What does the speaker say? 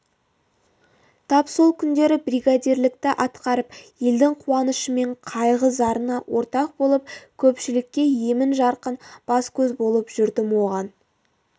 тап сол күндері бригадирлікті атқарып елдің қуанышы мен қайғы зарына ортақ болып көпшілікке емін-жарқын бас-көз болып жүрдім оған